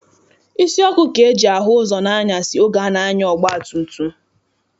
Isi ọkụ ka e ji ahụ ụzọ n'anyasị oge a na-anya ọgbatumtum.